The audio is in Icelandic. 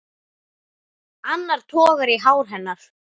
Annar togar í hár hennar.